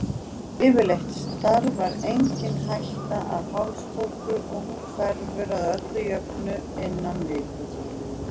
Yfirleitt stafar engin hætta af hálsbólgu og hún hverfur að öllu jöfnu innan viku.